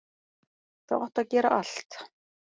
Þú átt að gera allt.